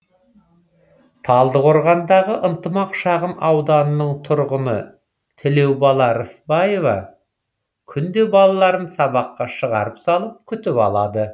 талдықорғандағы ынтымақ шағын ауданының тұрғыны тілеубала рысбаева күнде балаларын сабаққа шығарып салып күтіп алады